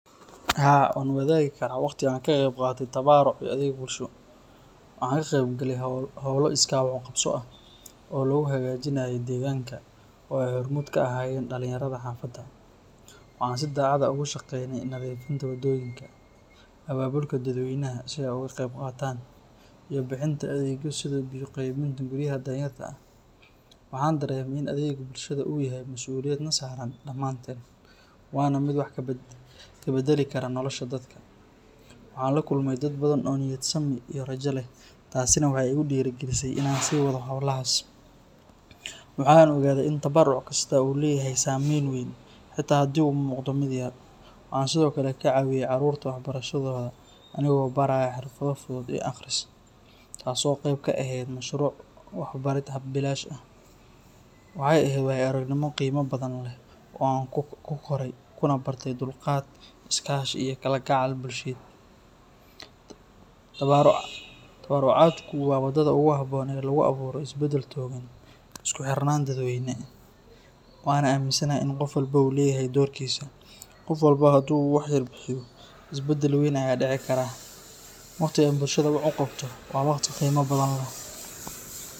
Haa, waan wadaagi karaa waqti aan ka qayb qaatay tabaruc iyo adeeg bulsho. Waxaan ka qayb galay hawlo iskaa wax u qabso ah oo lagu hagaajinayey deegaanka oo ay hormuud ka ahaayeen dhalinyarada xaafadda. Waxaan si daacad ah ugu shaqaynayey nadiifinta waddooyinka, abaabulka dadweynaha si ay uga qayb qaataan, iyo bixinta adeegyo sida biyo qaybinta guryaha danyarta ah. Waxaan dareemay in adeegga bulshada uu yahay masuuliyad na saaran dhammaanteen, waana mid wax ka beddeli kara nolosha dadka. Waxaan la kulmay dad badan oo niyad sami iyo rajo leh, taasina waxay igu dhiirrigelisay inaan sii wado hawlahaas. Waxa aan ogaadey in tabaruc kastaa uu leeyahay saameyn weyn, xitaa haddii uu muuqdo mid yar. Waxaan sidoo kale ka caawiyey caruurta waxbarashadooda anigoo baraya xirfado fudud iyo akhris, taasoo qayb ka ahayd mashruuc waxbarid bilaash ah. Waxay ahayd waayo-aragnimo qiimo badan leh oo aan ku koray, kuna bartay dulqaad, is-kaashi iyo kalgacayl bulsheed. Tabarucaadku waa waddada ugu habboon ee lagu abuuro isbedel togan iyo isku xirnaan dadweyne, waxaana aaminsanahay in qof walba uu leeyahay doorkiisa. Qof walba haddii uu wax yar bixiyo, isbeddel weyn ayaa dhici kara. Waqti aan bulshada wax u qabto waa waqti qiimo badan leh.